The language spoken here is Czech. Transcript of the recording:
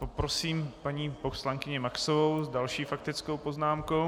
Poprosím paní poslankyni Maxovou s další faktickou poznámkou.